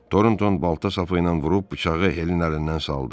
Torontoun balta sapı ilə vurub bıçağı Helin əlindən saldı.